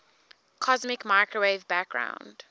cosmic microwave background